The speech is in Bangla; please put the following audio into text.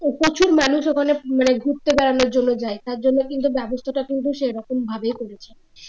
প্রচুর মানুষ ওখানে মানে ঘুরতে বাড়ানোর জন্য যায় তার জন্য কিন্তু ব্যবস্থাটা কিন্তু সেরকম ভাবেই করেছে